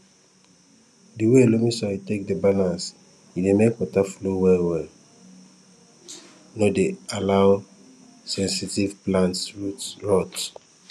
di way loamy soil take dey balanced e dey make water flow well welle no dey allow sensitive plants root rot